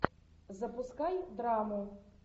запускай драму